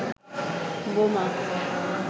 বোমা